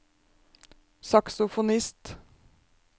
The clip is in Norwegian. saksofonist